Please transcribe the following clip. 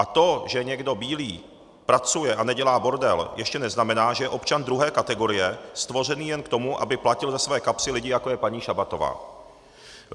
A to, že někdo bílý pracuje a nedělá bordel, ještě neznamená, že je občan druhé kategorie, stvořený jen k tomu, aby platil ze své kapsy lidi, jako je paní Šabatová.